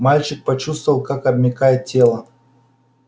мальчик почувствовал как обмякает тело